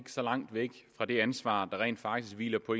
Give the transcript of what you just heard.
så langt væk fra det ansvar der rent faktisk hviler på